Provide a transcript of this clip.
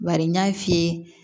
Bari n y'a f'i ye